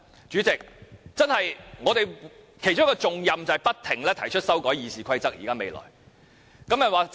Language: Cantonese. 主席，我們未來其中一項重任便是不斷提出修改《議事規則》。